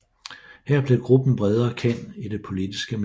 Her blev gruppen bredere kendt i det politiske miljø